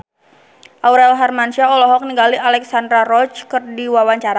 Aurel Hermansyah olohok ningali Alexandra Roach keur diwawancara